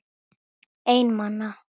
Einn manna!